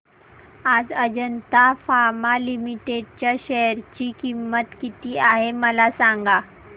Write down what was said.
आज Ajanta pharma limited च्या share ची किंमत किती आहे मला सांगा